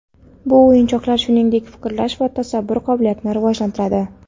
Bu o‘yinchoqlar, shuningdek, fikrlash va tasavvur qobiliyatini rivojlantiradi.